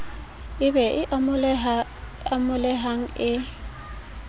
e be e amohelehang e